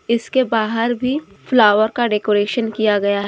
इसके बाहर भी फ्लावर का डेकोरेशन किया गया है।